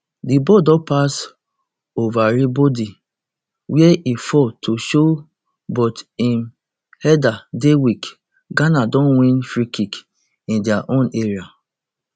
di ball don pass everibodi wia e fall to show but im header dey weak ghana don win freekick in dia own area